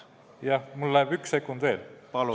Jah, mul läheb üks sekund veel ...